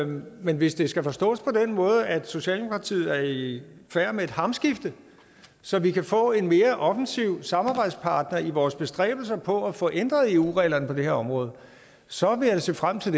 men hvis det skal forstås på den måde at socialdemokratiet er i færd med et hamskifte så vi kan få en mere offensiv samarbejdspartner i vores bestræbelser på at få ændret eu reglerne på det her område så vil jeg se frem til